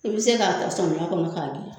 I be se k'a ta samiya kɔnɔ k'a gilan